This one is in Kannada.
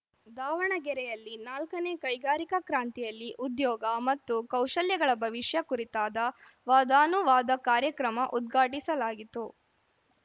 ದಾವಣಗೆರೆಯಲ್ಲಿ ನಾಲ್ಕನೇ ಕೈಗಾರಿಕಾ ಕ್ರಾಂತಿಯಲ್ಲಿ ಉದ್ಯೋಗ ಮತ್ತು ಕೌಶಲ್ಯಗಳ ಭವಿಷ್ಯ ಕುರಿತಾದ ವಾದಾನುವಾದ ಕಾರ್ಯಕ್ರಮ ಉದ್ಘಾಟಿಸಲಾಗಿತ್ತು